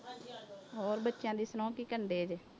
ਹੋਰ ਬੱਚਿਆਂ ਦੀ ਸੁਣਾਓ ਕੀ ਕਰਦੇ ਜੇ।